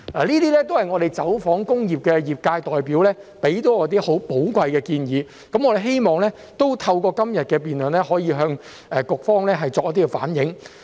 這些也是我們走訪工業界代表提出的多項寶貴建議，我們希望透過今天的辯論，可以向局方反映。